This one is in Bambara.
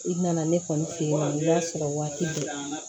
I nana ne kɔni fɛ yen y'a sɔrɔ waati de la